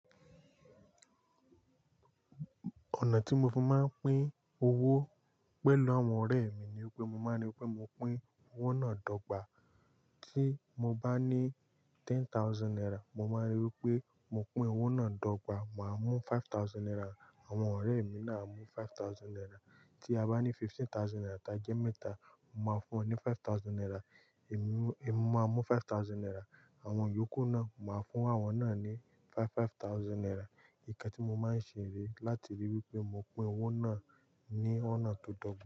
Ọ̀nà tí mo fi máa ń pín owó pẹ̀lú àwọn ọ̀rẹ́ mi ni pé mo máa ń ri pé mo pín owó náà dọ́gba. Tí mo bá ní ten thousand naira, mo máa ríi wí pé mo pín owó náà dọ́gba. Màá mú five thousand naira, àwọn ọ̀rẹ́ mi náà mú five thousand naira. Tí a bá ní fifteen thousand naira, ta jẹ́ mẹ́ta, mo máa fún wọn ní five thousand naira. Èmi máa mú five thousand naira. Àwọn yòókù náà, màá fún àwọn náà ní five five thousand naira. Ìká tí mo máa ń ṣe rí láti ríi wí pé mo pín owó náà ní ọ̀nà tó dọ́gba.